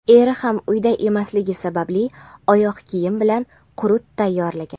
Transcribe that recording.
Eri ham uyda emasligi sababli oyoq kiyim bilan qurut tayyorlagan.